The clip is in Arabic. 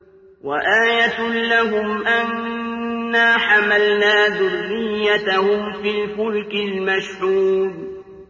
وَآيَةٌ لَّهُمْ أَنَّا حَمَلْنَا ذُرِّيَّتَهُمْ فِي الْفُلْكِ الْمَشْحُونِ